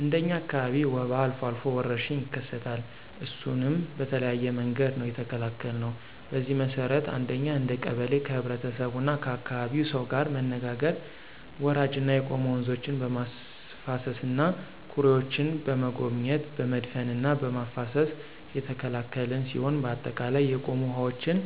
እንደ እኛ አካባቢ ወባ አልፎ አልፎ ወረርሽኝ ይከሰታል እሱንም በተለያየ መንገድ ነው የተከላከልነው። በዚህ መሰረት አንደኛ እንደ ቀበሌ ከህብረተሰቡና ከአካባቢው ሰው ጋር መነጋገር ወራጅና የቆሙ ወንዞችን በማፋሰስና ኩሬዎችን በመጎብኘት በመድፈንና በማፋሰስ የተከላከልን ሲሆን በአጠቃላይ የቆሙ ውሐዎችን